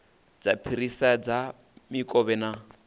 dza phirisela dza mikovhe na